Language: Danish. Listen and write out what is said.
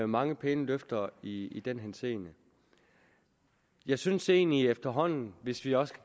mange pæne løfter i den henseende jeg synes egentlig efterhånden hvis vi også